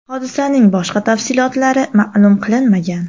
Hodisaning boshqa tafsilotlari ma’lum qilinmagan.